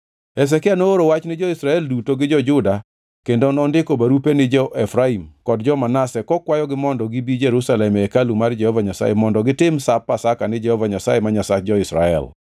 Hezekia nooro wach ni jo-Israel duto gi jo-Juda kendo nondiko barupe ni jo-Efraim kod jo-Manase kokwayogi mondo gibi Jerusalem e hekalu mar Jehova Nyasaye mondo gitim Sap Pasaka ni Jehova Nyasaye ma Nyasach jo-Israel.